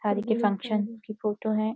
के फंक्शन की फोटो है।